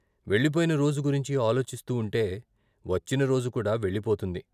వెళ్ళిపోయిన రోజు గురించి ఆలోచిస్తూ ఉంటే వచ్చిన రోజు కూడా వెళ్ళిపోతుంది.